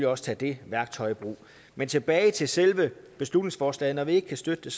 også tage det værktøj i brug men tilbage til selve beslutningsforslaget når vi ikke kan støtte